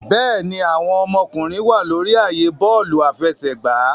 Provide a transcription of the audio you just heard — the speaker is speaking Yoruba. Bẹẹni, awọn ọmọkunrin wa lori ààyè bọọlu afẹsẹgba